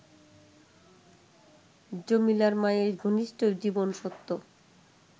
জমিলার মায়ের ঘনিষ্ঠ জীবনসত্য